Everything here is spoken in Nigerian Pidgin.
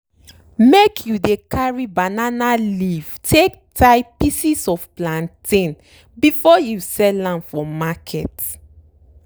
make you dey carry banana leaf take tie pieces of plantain before you sell am for market.